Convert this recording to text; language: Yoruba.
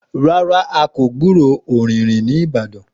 Rárá a kò gburó ọ̀rìnrìn ní ìbàdàn